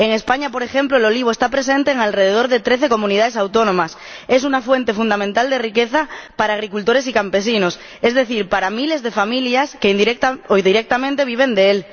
En España, por ejemplo, el olivo está presente en alrededor de trece Comunidades Autónomas y es una fuente fundamental de riqueza para agricultores y campesinos, es decir, para miles de familias que, directa o indirectamente, viven de él.